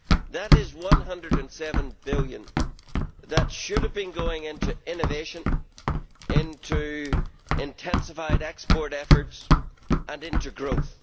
That is GBP 107 billion that should have been going into innovation, into intensified export efforts and into growth.